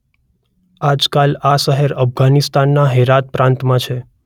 આજકાલ આ શહેર અફઘાનિસ્તાનના હેરાત પ્રાંતમાં છે.